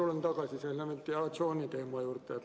Ma tulen tagasi selle ventilatsiooniteema juurde.